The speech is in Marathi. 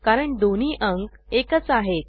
कारण दोन्ही अंक एकच आहेत